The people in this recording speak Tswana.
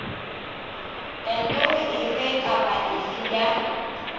kantoro efe kapa efe ya